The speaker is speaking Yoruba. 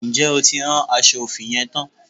Ǹjẹ́ o ti rán aṣọ òfì yẹn tán?